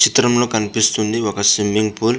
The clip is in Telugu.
చిత్రం లొ కనిపిస్తుంది వక స్విమింగ్ ఫూల్ .